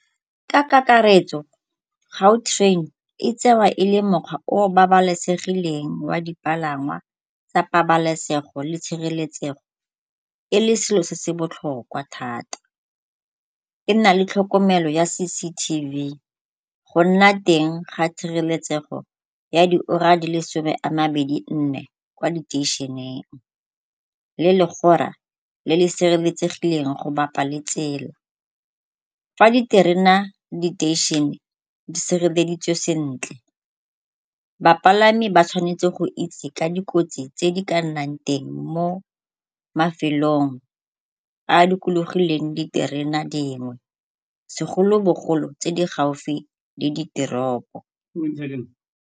Ka kakaretso Gautrain e tsewa e le mokgwa o o babalesegileng wa dipalangwa tsa pabalesego le tshireletsego e le selo se se botlhokwa thata. E nna le tlhokomelo ya C_C_T_V. Go nna teng ga tshireletsego ya diura di le some a mabedi nne kwa diteišeneng le legora le le sireletsegileng go bapa le tsela. Fa diterena diteišene di sireleditswe sentle, bapalami ba tshwanetse go itse ka dikotsi tse di ka nnang teng mo mafelong a a dikologileng diterena dingwe segolo bogolo tse di gaufi le diteropo.